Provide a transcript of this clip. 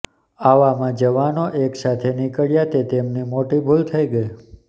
આવામાં જવાનો એકસાથે નિકળ્યા તે તેમની મોટી ભૂલ થઈ ગઈ